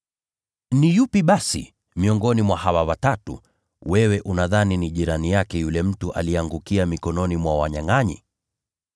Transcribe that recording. “Ni yupi basi miongoni mwa hawa watatu wewe unadhani ni jirani yake yule mtu aliyeangukia mikononi mwa wanyangʼanyi?”